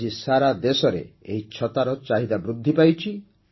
ଆଜି ସାରାଦେଶରେ ଏହି ଛତାର ଚାହିଦା ବୃଦ୍ଧି ପାଇଛି